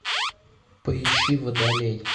поищи водолей